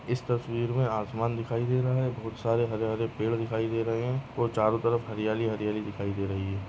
इस तस्वीर मे आसमान दिखाई दे रहा है बहुत सारे हरे हरे पेड़ दिखाई दे रहे है और चारों तरफ़ हरियाली हरियाली दिखाई दे रही है।